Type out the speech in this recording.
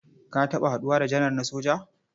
Ka taɓa haɗuwa da janar na soja?